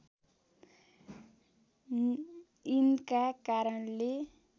यिनका कारणले